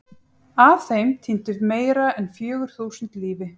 Af þeim týndu meira en fjögur þúsund lífi.